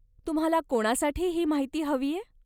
तुम्हाला कोणासाठी ही माहिती हवीय?